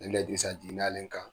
Nin le Dirisa jigin n'ale kan.